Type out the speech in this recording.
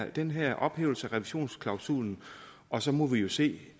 den her ophævelse af revisionsklausulen og så må vi vi se